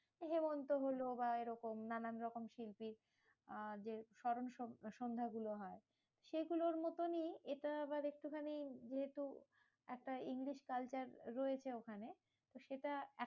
হেমন্ত হলো বা এরকম নানান রকম শিল্পী আহ যে স্মরণ সন্ধ্যা গুলো হয়, সেগুলোর মতনই এটা আবার একটুখানি যেহেতু একটা ইংলিশ culture রয়েছে ওখানে। সেটা